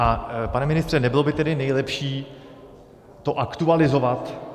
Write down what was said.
A pane ministře, nebylo by tedy nejlepší to aktualizovat?